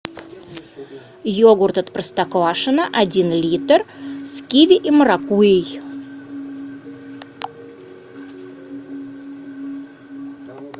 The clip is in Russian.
йогурт от простоквашино один литр с киви и маракуйей